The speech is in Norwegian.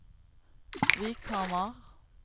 Vikhamar